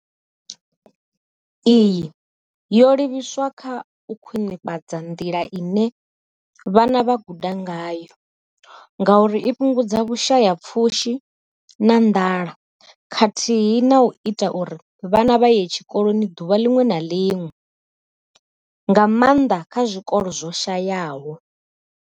Iyi yo livhiswa kha u khwinifhadza nḓila ine vhana vha guda ngayo ngauri i fhungudza vhushayapfushi na nḓala khathihi na u ita uri vhana vha ye tshikoloni ḓuvha ḽiṅwe na ḽiṅwe, nga maanḓa kha zwikolo zwo shayaho.